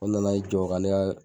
u nana yi jɔ ka ne ka